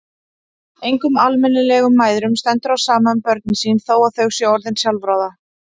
Engum almennilegum mæðrum stendur á sama um börnin sín þó að þau séu orðin sjálfráða.